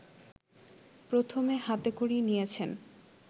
প্রথমে হাতে খড়ি নিয়েছেন